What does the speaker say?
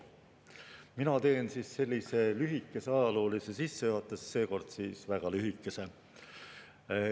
Mina teen lühikese ajaloolise sissejuhatuse, seekord väga lühikese.